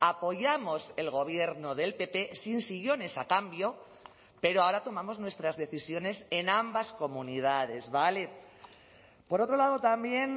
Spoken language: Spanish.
apoyamos el gobierno del pp sin sillones a cambio pero ahora tomamos nuestras decisiones en ambas comunidades vale por otro lado también